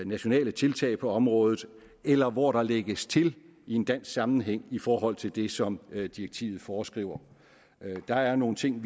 nationale tiltag på området eller hvor der lægges til i en dansk sammenhæng i forhold til det som direktivet foreskriver der er nogle ting